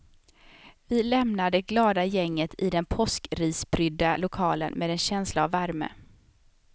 Vi lämnar det glada gänget i den påskrisprydda lokalen med en känsla av värme.